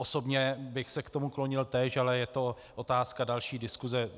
Osobně bych se k tomu klonil též, ale je to otázka další diskuse.